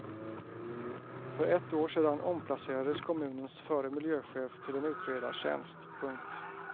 För ett år sedan omplacerades kommunens förre miljöchef till en utredartjänst. punkt